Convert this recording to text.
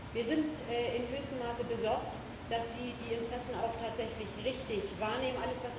Wir sind in höchstem Maße besorgt, dass Sie die Interessen auch tatsächlich richtig wahrnehmen.